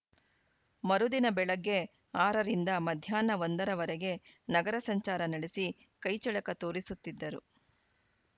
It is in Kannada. ಮರುದಿನ ಬೆಳಗ್ಗೆ ಆರ ರಿಂದ ಮಧ್ಯಾಹ್ನ ಒಂದ ರವರೆಗೆ ನಗರ ಸಂಚಾರ ನಡೆಸಿ ಕೈ ಚಳಕ ತೋರಿಸುತ್ತಿದ್ದರು